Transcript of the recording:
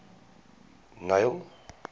neil